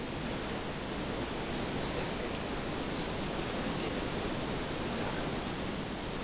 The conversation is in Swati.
sisekelo setimemetelo letingumlandvo